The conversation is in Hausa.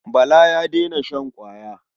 Bala ya daina shan ƙwaya.